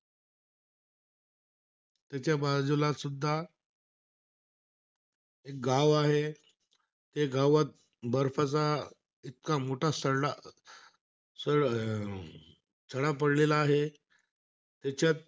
त्याच्या बाजूलासुद्धा एक गाव आहे. ते गावात बर्फाचा इतका मोठा सरडा स अं सडा पडलेला आहे.